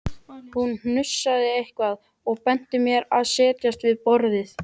Hún hnussaði eitthvað og benti mér að setjast við borðið.